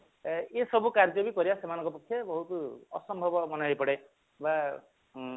ଏ ସବୁ କାର୍ଯ୍ୟ ବି କରିବା ସେମାନଙ୍କ ପକ୍ଷେ ବହୁତ ଅସମ୍ଭବ ହେଇପଡେ ବା ହଁ